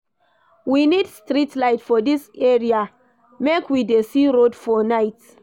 We need street light for dis area, make we dey see road for night.